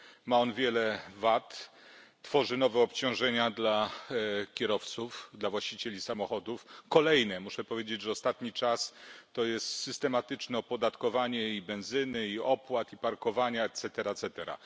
Ma on wiele wad, tworzy nowe obciążenia dla kierowców, dla właścicieli samochodów, kolejne. Muszę powiedzieć, że ostatni czas to jest systematyczne opodatkowanie i benzyny, i opłat, i parkowania et cetera, et cetera.